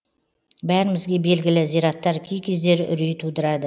бәрімізге белгілі зираттар кей кездері үрей тудырады